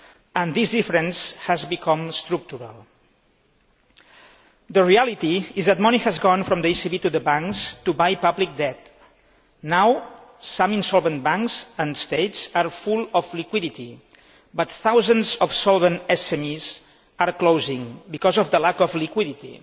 and this difference has become structural. The reality is that money has gone from the ECB to the banks to buy public debt. Now, some insolvent banks and states are full of liquidity, but thousands of solvent SMEs are closing because of the lack of liquidity.